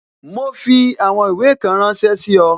Ma fi àwọn ìwé kan ránsẹ́ sí ọ